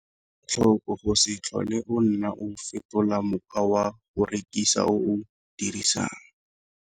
Ela tlhoko go se tlhole o nna o fetola mokgwa wa go rekisa o o dirisang.